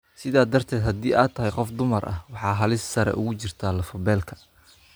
Sidaa darteed, haddii aad tahay qof dumar ah, waxaad halis sare ugu jirtaa lafo-beelka.